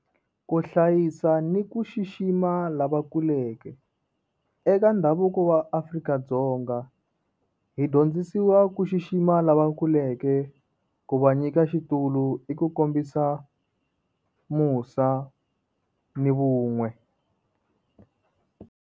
Ku hlayisa ni ku xixima lavakuleke. Eka ndhavuko wa Afrika-Dzonga, hi dyondzisiwa ku xixima lavakuleke. Ku va nyika xitulu i ku kombisa musa ni vun'we.